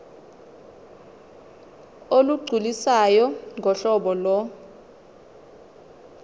olugculisayo ngohlobo lo